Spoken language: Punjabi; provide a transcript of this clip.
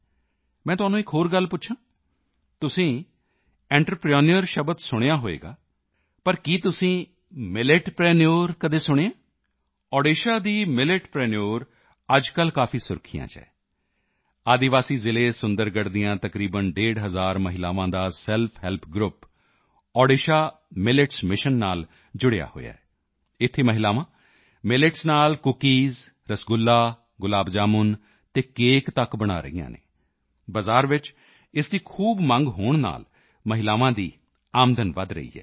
ਮੈਂ ਤੁਹਾਨੂੰ ਇੱਕ ਹੋਰ ਗੱਲ ਪੁੱਛਾਂ ਤੁਸੀਂ ਐਂਟਰਪ੍ਰੇਨਿਓਰ ਸ਼ਬਦ ਸੁਣਿਆ ਹੋਣਾ ਪਰ ਕਿਸ ਤੁਸੀਂ ਮਿਲੇਟਪ੍ਰੀਨਿਓਰਸ ਕੀ ਕਦੇ ਸੁਣਿਆ ਹੈ ਓਡੀਸ਼ਾ ਦੀ ਮਿਲੇਟਪ੍ਰੀਨਿਓਰਸ ਅੱਜਕੱਲ੍ਹ ਕਾਫੀ ਸੁਰਖੀਆਂ ਚ ਹੈ ਆਦਿਵਾਸੀ ਜ਼ਿਲ੍ਹੇ ਸੁੰਦਰਗੜ੍ਹ ਦੀਆਂ ਤਕਰੀਬਨ ਡੇਢ ਹਜ਼ਾਰ ਮਹਿਲਾਵਾਂ ਦਾ self help group Odisha millets mission ਨਾਲ ਜੁੜਿਆ ਹੋਇਆ ਹੈ ਇੱਥੇ ਮਹਿਲਾਵਾਂ ਮਿਲੇਟਸ ਨਾਲ ਕੁੱਕੀਜ਼ ਰਸਗੁੱਲਾ ਗੁਲਾਬ ਜਾਮਣ ਅਤੇ ਕੇਕ ਤੱਕ ਬਣਾ ਰਹੀਆਂ ਹਨ ਬਜ਼ਾਰ ਵਿੱਚ ਇਸ ਦੀ ਖੂਬ ਮੰਗ ਹੋਣ ਨਾਲ ਮਹਿਲਾਵਾਂ ਦੀ ਆਮਦਨ ਵੀ ਵਧ ਰਹੀ ਹੈ